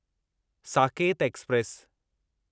Saket express